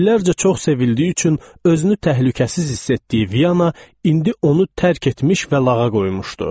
İllərcə çox sevildiyi üçün özünü təhlükəsiz hiss etdiyi Viyana indi onu tərk etmiş və lağa qoymuşdu.